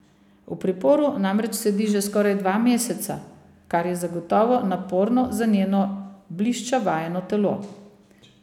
V priporu namreč sedi že skoraj dva meseca, kar je zagotovo naporno za njeno blišča vajeno telo.